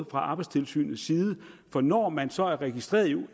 fra arbejdstilsynets side for når man så er registreret